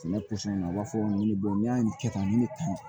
Sɛnɛ u b'a fɔ n ye n'i y'a kɛ tan ni tan